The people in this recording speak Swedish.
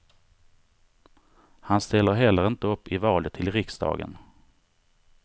Han ställer heller inte upp i valet till riksdagen.